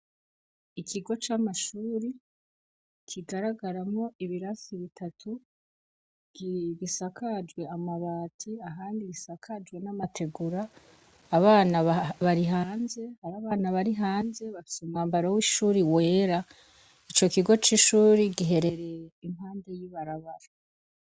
Ikigo c'amashuri kigaragaramwo ibirasi bitatu, gisakajwe amabati, ahandi gisakajwe n'amategura; abana bari hanze bafise umwambaro w'ishuri wera . Ico kigo c'ishuri giherereye impande y'ibarabara.